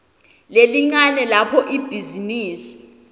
lelincane lapho ibhizinisi